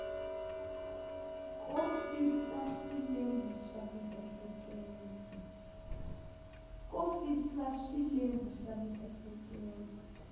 ko fihla swilemu swa miehleketo